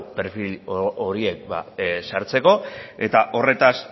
perfil horiek sartzeko eta horretaz